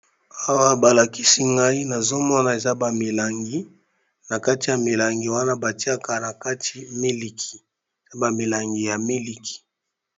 Awa balakisi ngai nazomona eza ba milangi, na kati ya milangi wana batiaka na kati miliki, bamilangi ya miliki.